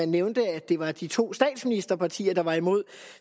nævnte at det var de to statsministerpartier der var imod